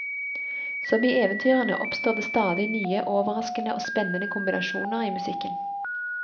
Som i eventyrene oppstår det stadig nye, overraskende og spennende kombinasjoner i musikken.